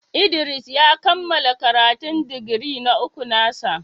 Idris ya kammala karatun digiri na uku na sa.